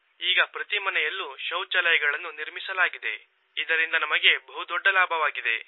ಈಗ ಪ್ರತಿ ಮನೆಯಲ್ಲೂ ಶೌಚಾಲಯಗಳನ್ನು ನಿರ್ಮಿಸಲಾಗಿದೆ ಇದರಿಂದ ನಮಗೆ ಬಹು ದೊಡ್ಡ ಲಾಭವಾಗಿದೆ